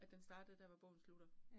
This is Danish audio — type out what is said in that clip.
At den startede der, hvor bogen slutter